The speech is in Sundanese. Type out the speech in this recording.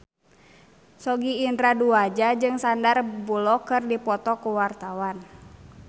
Sogi Indra Duaja jeung Sandar Bullock keur dipoto ku wartawan